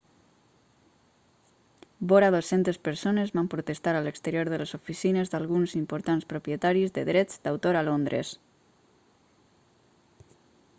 vora 200 persones van protestar a l'exterior de les oficines d'alguns importants propietaris de drets d'autor a londres